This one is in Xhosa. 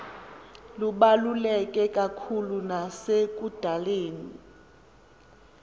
lubaluleke kakhulu nasekudaleni